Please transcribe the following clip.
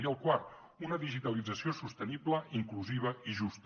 i el quart una digitalització sostenible inclusiva i justa